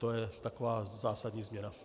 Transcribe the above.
To je taková zásadní změna.